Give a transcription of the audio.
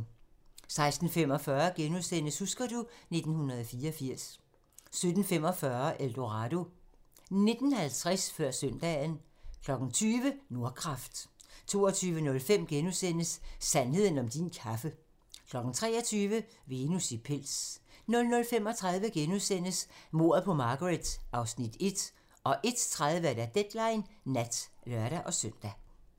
16:45: Husker du ... 1984 * 17:45: El Dorado 19:50: Før søndagen 20:00: Nordkraft 22:05: Sandheden om din kaffe * 23:00: Venus i pels 00:35: Mordet på Margaret (Afs. 1)* 01:30: Deadline nat (lør-søn)